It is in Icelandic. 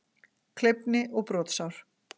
Kleyfni og brotsár.